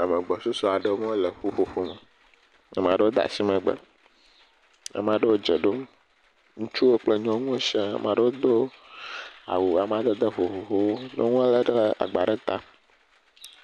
Ame agbɔsusu aɖewo le ƒuƒoƒo me ame aɖewo de asi megbe ame aɖewo dze ɖom ŋutsuwo kple nyɔnuwo siã ame aɖewo do awu amadede vovovowo nyɔnu aɖe le agbã ɖe ta